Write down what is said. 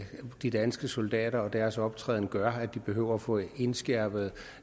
de danske soldater og deres optræden gør at de behøver at få indskærpet